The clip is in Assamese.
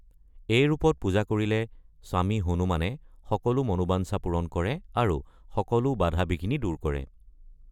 এই ৰূপত পূজা কৰিলে স্বামী হনুমানে সকলো মনোবাঞ্ছা পূৰণ কৰে আৰু সকলো বাধা-বিঘিনি দূৰ কৰে।